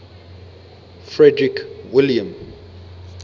frederick william